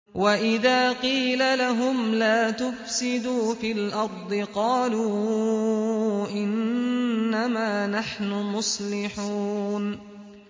وَإِذَا قِيلَ لَهُمْ لَا تُفْسِدُوا فِي الْأَرْضِ قَالُوا إِنَّمَا نَحْنُ مُصْلِحُونَ